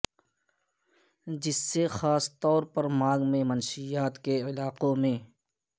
جس سے خاص طور پر مانگ میں منشیات کے علاقوں میں